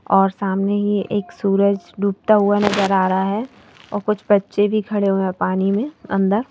और सामने ही एक सूरज डूबता हुआ नजर आ रहा हैऔर कुछ बच्चे भी खड़े हुए हैंपानी में अंदर।